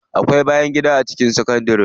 Akwai bayangida a cikin sakandari.